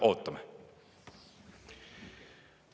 Ootame!